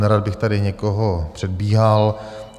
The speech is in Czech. Nerad bych tady někoho předbíhal.